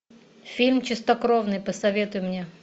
фильм чистокровный посоветуй мне